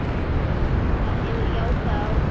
Það hefur jákvæð áhrif.